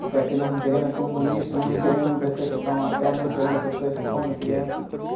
Porque aqui nós não queremos comunistas, nós não queremos pessoas que tomam a terra, não queremos pessoas que comem crianças.